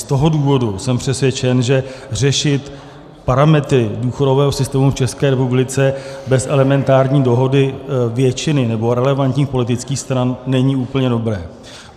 Z toho důvodu jsem přesvědčen, že řešit parametry důchodového systému v České republice bez elementární dohody většiny nebo relevantních politických stran není úplně dobré.